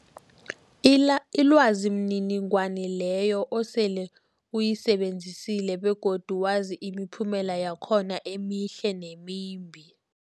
ila ilwazi mniningwana leyo osele uyisebenzisile begodu wazi imiphumela yakhona emihle nemimbi.